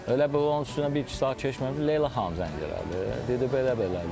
Elə bil onun üstündən bir-iki saat keçməmiş Leyla xanım zəng elədi, dedi belə-belədi də.